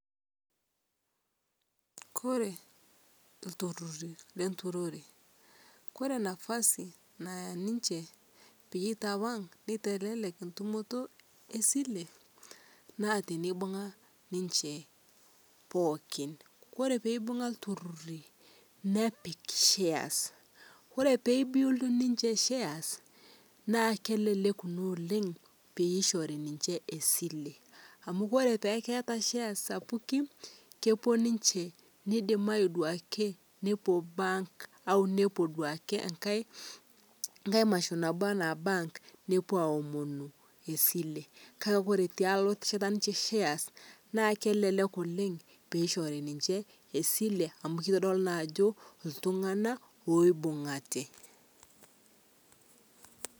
kore ntururi lenturoree kore nafasi nayaa ninshe peyie itawang' neitelek ntumotoo esilee naa teneibung'a ninshe pookin. Koree peibung'a ltururii nepik shares , kore peyie build ninshe shares naa kelelek naa oleng' peyie eishorii ninshe esilee, amu kore peaku keataa ee shares sapukii kepuo ninshee neidimai duake nopuo bank au nepuo duake eng'hai anamashu naboo ana bank nopuo aomonu esile kakee kore peaku ketashata ninshe shares naa kelelek oleng' peishorii ninshe esilee amu kodolii naa ajoo ltung'ana oibung'ate